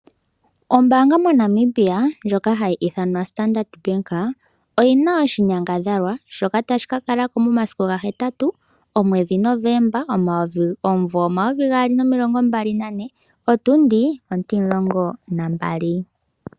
Ombaanga moNamibia ndjoka hayi ithanwa Standard oyina oshinyangadhalwa shoka tashi ka kalako momasiku 8 omwedhi Novemba omumvo 2024 otundi 12.